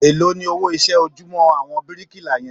Èló ni owó iṣẹ́ ojúmọ́ àwọn bíríkìlà yẹn?